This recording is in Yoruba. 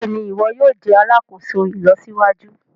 Béèni iwọ yóò jé alàkóso ìlọsíwájú.